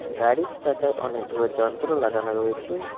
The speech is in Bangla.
গাড়ির চাকায় অনেকগুলো যন্ত্র লাগানো রয়েছে।